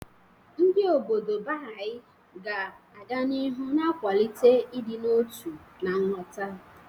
Ndị obodo Baha'i ga-aga n'ihu na-akwalite ịdị n'otu na nghọta.